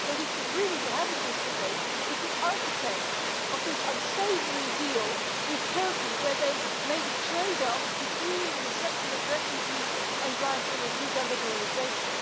But we should really be having this debate with the architects of this unsavoury deal with Turkey, where they made a trade off between the reception of refugees and granting of visa liberalisation.